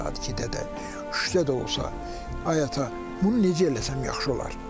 Gecə saat 2-də də, düşdədə olsa: Ay ata, bunu necə eləsəm yaxşı olar?